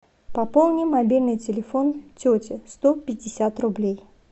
пополни мобильный телефон тети сто пятьдесят рублей